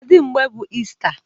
Kedu mgbe bụ Ista?